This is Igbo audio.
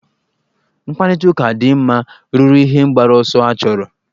Mkparịtaụka dị mma ruru ihe mgbaru ọsọ achọrọ.